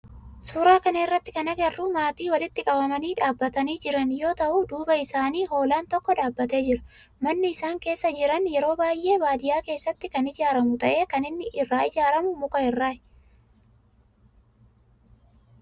Suuraa kana irratti kana agarru maatii walitti qabamanii dhaabbatanii jiran yoo ta'u duuba isaanii hoolaan tokko dhaabbatee jira. Manni isaan keessa jiran yeroo baayyee baadiyaa keessatti kan ijaaramu ta'e kan inni irraa ijaaramu muka irraa.